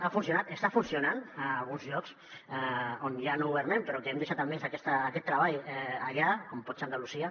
ha funcionat està funcionant a alguns llocs on ja no governem però que hem deixat almenys aquest treball allà com pot ser andalusia